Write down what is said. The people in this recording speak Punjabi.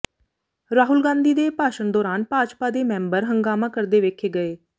ਰਾਹੁਲ ਗਾਂਧੀ ਦੇ ਭਾਸ਼ਣ ਦੌਰਾਨ ਭਾਜਪਾ ਦੇ ਮੈਂਬਰ ਹੰਗਾਮਾ ਕਰਦੇ ਵੇਖੇ ਗਏ